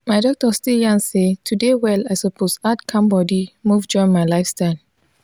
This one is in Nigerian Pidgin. my doctor still yarn say to dey well i suppose add calm body move join my lifestyle.